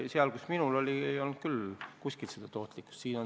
Selles, kus minu raha oli, ei olnud küll mingit tootlikkust.